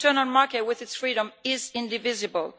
The internal market with its freedom is indivisible.